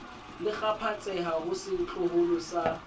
le kgaphatseha ho setloholo sa